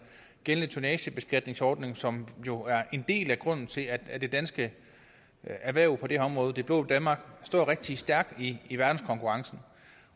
gældende tonnagebeskatningsordning som jo er en del af grunden til at at det danske erhverv på det her område det blå danmark står rigtig stærkt i i verdenskonkurrencen